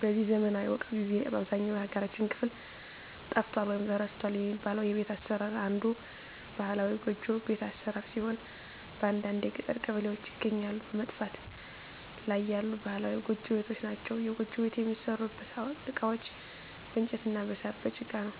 በዚህ ዘመናዊ ወቅት ጊዜ በአብዛኛው የሀገራችን ክፍል ጠፍቷል ወይም ተረስቷል የሚባለው የቤት አሰራር አንዱ ባህላዊ ጎጆ ቤት አሰራር ሲሆን በአንዳንድ የገጠር ቀበሌዎች ይገኛሉ በመጥፋት ላይ ያሉ ባህላዊ ጎጆ ቤቶች ናቸዉ። የጎጆ ቤት የሚሠሩበት እቃዎች በእንጨት እና በሳር፣ በጭቃ ነው።